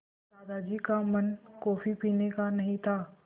दादाजी का मन कॉफ़ी पीने का नहीं था